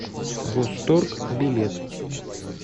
восторг билет